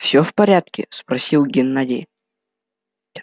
всё в порядке спросил геннадий